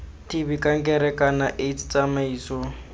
tb kankere kana aids tsamaiso